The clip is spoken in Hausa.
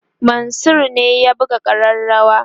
Mansur ne ya buga kareawa